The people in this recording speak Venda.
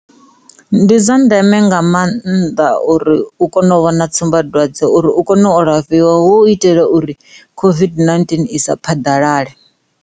Ndi dza ndeme nga mannḓa uri u kone u vhona tsumbadwadze uri u kone u alafhiwa hu itela uri COVID-19 i sa phaḓalale.